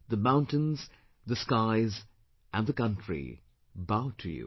The mountains, the skies and the country bow to you